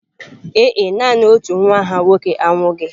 Ee e, nanị otu nwa ha nwoke anwụghị.